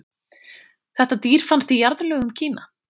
Þetta dýr fannst í jarðlögum í Kína.